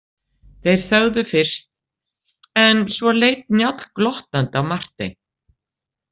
Þeir þögðu fyrst en svo leit Njáll glottandi á Martein.